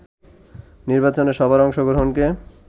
নির্বাচনে সবার অংশগ্রহণকে